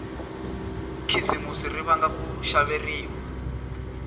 khisimusi ri vanga ku xaveriwa